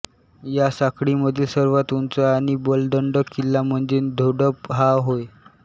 या साखळीमधील सर्वात उंच आणि बलदंड किल्ला म्हणजे धोडप हा होय